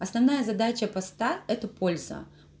основная задача поста это польза